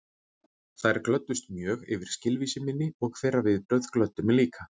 Þær glöddust mjög yfir skilvísi minni og þeirra viðbrögð glöddu mig líka.